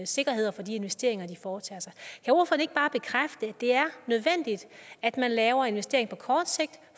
sikkerhed for de investeringer de foretager at det er nødvendigt at man laver investeringer på kort sigt